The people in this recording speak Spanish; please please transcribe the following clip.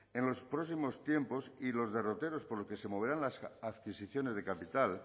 en los próximos tiempos y los derroteros por los que se moverán las adquisiciones de capital